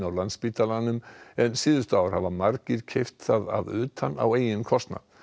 Landspítalanum en síðustu ár hafa margir keypt það að utan á eigin kostnað